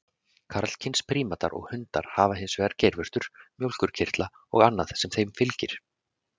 Karlkyns prímatar og hundar hafa hins vegar geirvörtur, mjólkurkirtla og annað sem þeim fylgir.